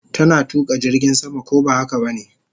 Tana tuka jirgin sama, ko ba haka bane?